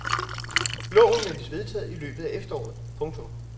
Loven ventes vedtaget i løbet af efteråret. punktum